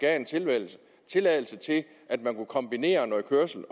tilladelse til at man kunne kombinere noget kørsel